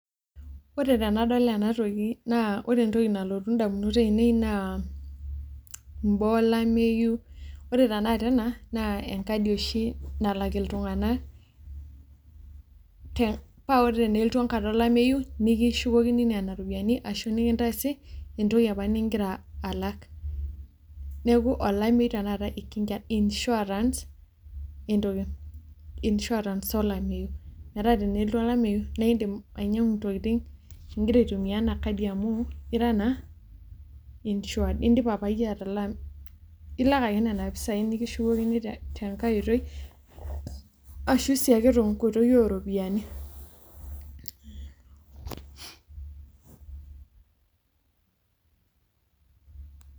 Wore tenadol ena toki, naa wore entoki nalotu indamunot aiinei naa, imbaa olameyu, wore tenakata ena, naa enkadi oshi nalak iltunganak, paa wore tenelotu enkata olameyu, nikishukokini niana ropiyiani ashu nikintaasi entoki apa nikira alak. Neeku olameyu tenakata ikinga, insurance entoki , insurance olameyu, metaa tenelotu olameyu naa iindim ainyiangu intokitin ikira aitumia ina kadi amuu ira naa insured indipa apa iyie atalaa . Ilak ake niana pisai, nikishukokini tenkae oitoi ashu si ake tenkoitoi ooropiyiani.